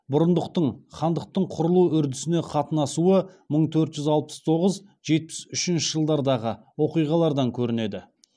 бұрындықтың хандықтың құрылу үрдісіне қатынасуы мың төрт жүз алпыс тоғыз жетпіс үшінші жылдардағы оқиғалардан көрінеді